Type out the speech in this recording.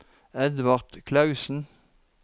Edvard Klausen